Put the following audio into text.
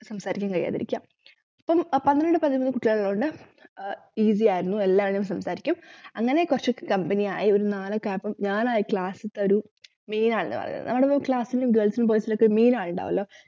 സംസാരിക്കാൻ കഴിയാതിരിക്കുക അപ്പൊ പന്ത്രണ്ട് പതിനൊന്നു കുട്ടികളുള്ളകൊണ്ട് easy യായിരുന്നു എല്ലാരും സംസാരിക്കും അങ്ങനെ കൊറച്ചു company യായിരുന്നു നാലോക്കെ ആയപ്പോ ഞാനായി class ത്തെ ഒരു main ആൾ എന്ന് പറയുന്നത് ഞങ്ങടെ class ലു girls നും boys നും ഒക്കെ main ആളിൻഡാവുവല്ലോ